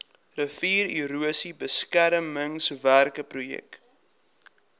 riviererosie beskermingswerke projek